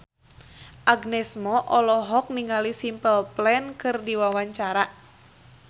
Agnes Mo olohok ningali Simple Plan keur diwawancara